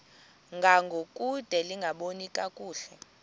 ngangokude lingaboni kakuhle